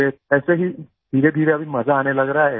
फिर ऐसे ही धीरेधीरे अभी मजा आने लग रहा है